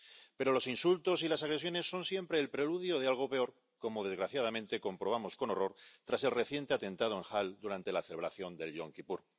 Pero los insultos y las agresiones son siempre el preludio de algo peor, como, desgraciadamente, comprobamos con horror tras el reciente atentado en Halle durante la celebración del Yom Kipur.